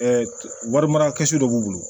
warimara dɔ b'u bolo